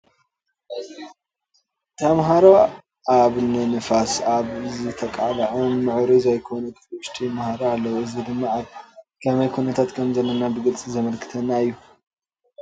ተማሃሮ ኣብ ንንፋስ ኣብ ዝተቃልዐ ምዕሩይ ዘይኮነ ክፍሊ ውሽጢ ይመሃሩ ኣለዉ፡፡ እዚ ድማ ኣብ ከመይ ኩነታ ከምዘለና ብግልፂ ዘመልክተና እዩ፡፡